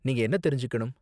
நீங்க என்ன தெரிஞ்சுக்கணும்?